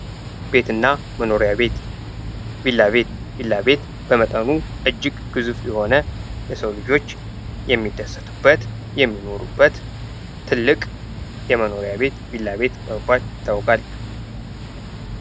ቤትና መኖሪያ ቤት ቪላ ቤት ቪላ ቤት በመጠኑ እጅግ ግዙፍ የሆነ የሰው ልጆች የሚደሰቱበት የሚኖሩበት ትልቅ የመኖሪያ ቤት ቪላ ቤት በመባል ይታወቃል።